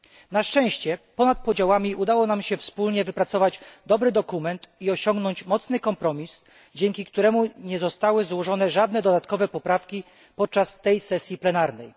Na szczęście, ponad podziałami udało nam się wspólnie wypracować dobry dokument i osiągnąć mocny kompromis, dzięki któremu nie zostały złożone żadne dodatkowe poprawki podczas tej sesji plenarnej.